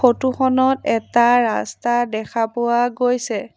Photo খনত এটা ৰাস্তা দেখা পোৱা গৈছে।